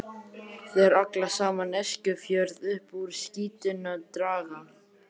Þeir allan saman Eskifjörð upp úr skítnum draga.